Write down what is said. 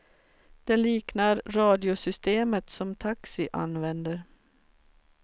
Det liknar radiosystemet som taxi använder.